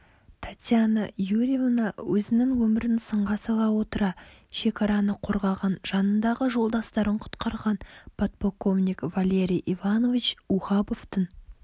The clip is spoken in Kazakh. татьяна юрьевна өзінің өмірін сынға сала отыра шекараны қорғаған жанындағы жолдастарын құтқарған подполковник валерий иванович ухабовтың